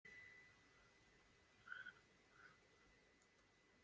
Markið glæsilegt, skot upp í samskeytin og Þróttarar höfðu yfir í hálfleik.